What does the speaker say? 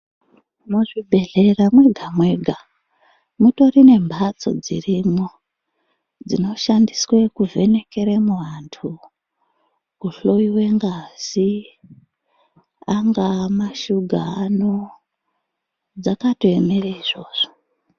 Muzvibhedhlera mwega-mwega mutori nemhatso dzirimwo dzinoshandiswe kuvhenekeremo vantu kuhloyiwa ngazi, angaamashuga ano, dzakatoemere izvozvo.